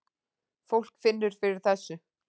Fólk finnur fyrir þessu